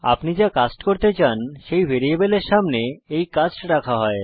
আপনি যা কাস্ট করতে চান সেই ভ্যারিয়েবলের সামনে এই কাস্ট রাখা হয়